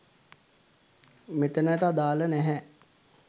මෙතැනට අදාළ නැහැ